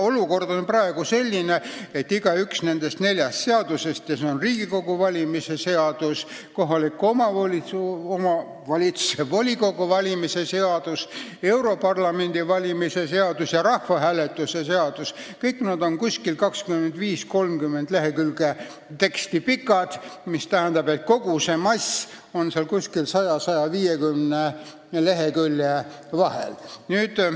Olukord on praegu selline, et igaüks nendest neljast seadusest – Riigikogu valimise seadus, kohaliku omavalitsuse volikogu valimise seadus, Euroopa Parlamendi valimise seadus ja rahvahääletuse seadus – on 25–30 lehekülge pikk, mis tähendab, et kogu see tekstimass on 100 ja 150 lehekülje vahel.